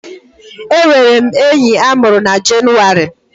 Enwere m enyi a mụrụ na Jenụwarị